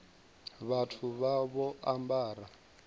vhathu vha vha vho ambara